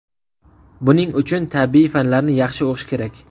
Buning uchun tabiiy fanlarni yaxshi o‘qish kerak”.